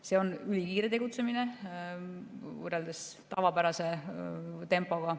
See on ülikiire tegutsemine võrreldes tavapärase tempoga.